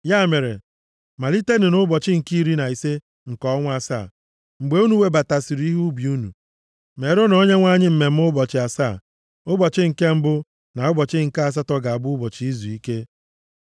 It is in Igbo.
“ ‘Ya mere, malite nʼụbọchị nke iri na ise nke ọnwa asaa, mgbe unu webatasịrị ihe ubi unu, meerenụ Onyenwe anyị mmemme ụbọchị asaa, ụbọchị nke mbụ, na ụbọchị nke asatọ ga-abụ ụbọchị izuike.